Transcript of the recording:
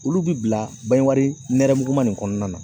Olu bi bila bange wari nɛrɛmuguman nin kɔnɔna na